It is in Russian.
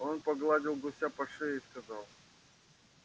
он погладил гуся по шее и сказал